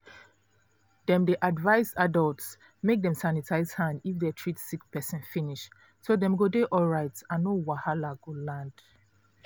dem dey advise adults make dem sanitize hand if they treat sick person finish so dem go dey alright and no wahala go land.